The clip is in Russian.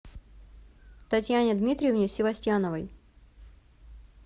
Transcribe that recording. татьяне дмитриевне севастьяновой